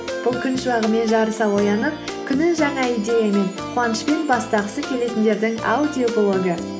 бұл күн шуағымен жарыса оянып күнін жаңа идеямен қуанышпен бастағысы келетіндердің аудиоблогы